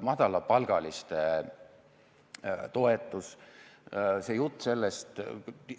Madalapalgaliste toetus, see jutt sellest,